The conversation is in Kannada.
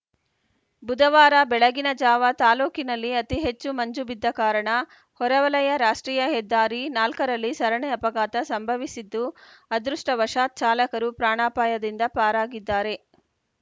ಬುಧವಾರ ಬೆಳಗಿನ ಜಾವ ತಾಲೂಕಿನಲ್ಲಿ ಅತಿ ಹೆಚ್ಚು ಮಂಜು ಬಿದ್ದ ಕಾರಣ ಹೊರವಲಯ ರಾಷ್ಟ್ರೀಯ ಹೆದ್ದಾರಿ ನಾಲ್ಕು ರಲ್ಲಿ ಸರಣಿ ಅಪಘಾತ ಸಂಭವಿಸಿದ್ದು ಅದೃಷ್ಟವಶಾತ್‌ ಚಾಲಕರು ಪ್ರಾಣಾಪಾಯದಿಂದ ಪಾರಾಗಿದ್ದಾರೆ